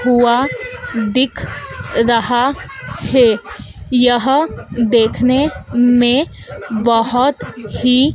हुआ दिख रहा है यह देखने में बहोत ही--